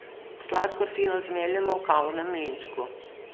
Sladkor fino zmeljemo v kavnem mlinčku.